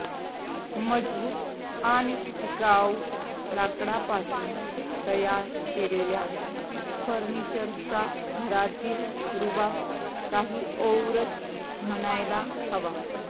मजबूत आणि टिकाऊ लाकडापासून तयार केलेल्या फनिर्चरचा घरातील रूबाब काही औरच म्हणायला हवा